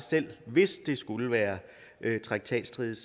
selv hvis det skulle være traktatstridigt